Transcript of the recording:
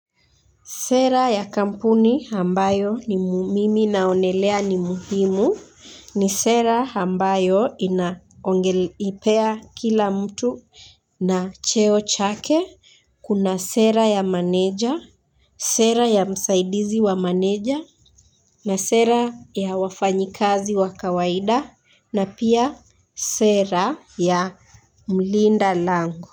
Sera ya kampuni ambayo mimi naonelea ni muhimu ni sera ambayo inaongelipea kila mtu na cheo chake. Kuna sera ya maneja, sera ya msaidizi wa maneja na sera ya wafanyikazi wa kawaida na pia sera ya mlinda lango.